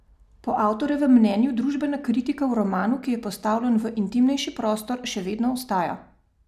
Po avtorjevem mnenju družbena kritika v romanu, ki je postavljen v intimnejši prostor, še vedno ostaja.